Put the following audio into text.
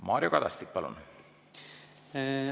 Mario Kadastik, palun!